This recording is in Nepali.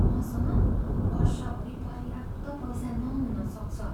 मसँग वर्षभरि पर्याप्त पैसा नहुन सक्छ।